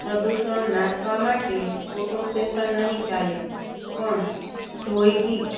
પ્રદૂષણ નાથવા માટે ફોટો સેશન નહીં ચાલે પણ દ્યોગિક